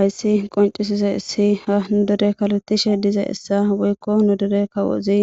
Ayssi qoncisize issi ha nu dore kaletishe dize essa woykko nu dore kawozi